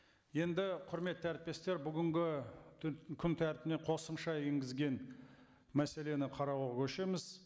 енді құрметті әріптестер бүгінгі күн тәртібіне қосымша енгізген мәселені қарауға көшеміз